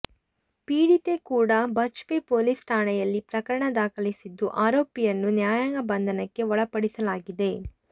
ಪೀಡಿತೆ ಕೂಡ ಬಜ್ಪೆ ಪೊಲೀಸ್ ಠಾಣೆಯಲ್ಲಿ ಪ್ರಕರಣ ದಾಖಲಿಸಿದ್ದು ಆರೋಪಿಯನ್ನು ನ್ಯಾಯಾಂಗ ಬಂಧನಕ್ಕೆ ಒಳಪಡಿಸಲಾಗಿದೆ